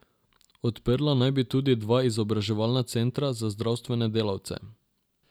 Odprla naj bi tudi dva izobraževalna centra za zdravstvene delavce.